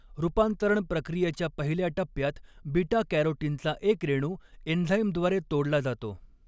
रूपांतरण प्रक्रियेच्या पहिल्या टप्प्यात बीटा कॅरोटीनचा एक रेणू एंझाइमद्वारे तोडला जातो.